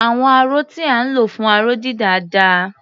Àwọn aró tí à ń lò fún aró-dídà dà?